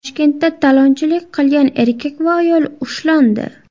Toshkentda talonchilik qilgan erkak va ayol ushlandi.